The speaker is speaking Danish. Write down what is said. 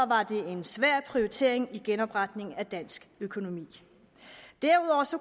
var det en svær prioritering i genopretningen af dansk økonomi derudover